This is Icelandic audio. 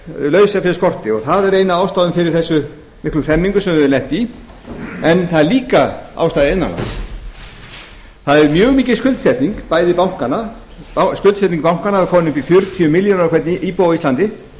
og lausafjárskortur og það er ein af ástæðunum fyrir þessum miklu hremmingum sem við höfum lent í en það er líka ástæða innan lands það er mjög mikil skuldsetning bæði bankanna skuldsetning bankanna var komin upp í fjörutíu milljónir á hvern íbúa á íslandi